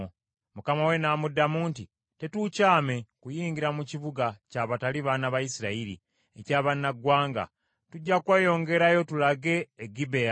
Mukama we n’amuddamu nti, “Tetuukyame kuyingira mu kibuga ky’abatali baana ba Isirayiri, eky’abannaggwanga. Tujja kweyongerayo tulage e Gibea.”